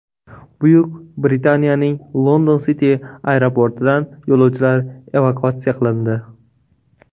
Buyuk Britaniyaning London City aeroportidan yo‘lovchilar evakuatsiya qilindi.